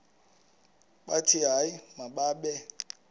bathi hayi mababe